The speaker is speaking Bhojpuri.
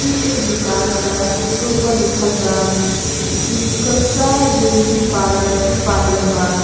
फिर एक दुकान बा जेकर ऊपर लिखल बा विकसा डेयरी पार्लर जो पार्लर बा।